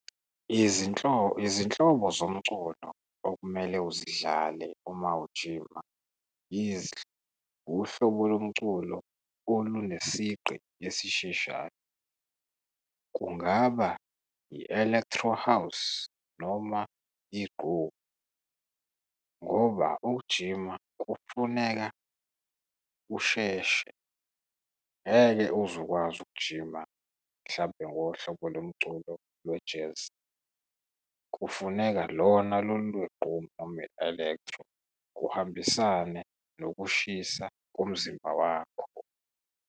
Izinhlobo zomculo okumele uzidlale uma ujima , uhlobo lomculo olunesigqi esisheshayo kungaba i-elektro house, noma inqgomu ngoba ukujima kufuneka kusheshe, ngeke uze ukwazi ukujima mhlampe ngohlobo lomculo lwe-jazz. Kufuneka lona lolu lweqgomu noma i-elektro, kuhambisane nokushisa komzimba wakho.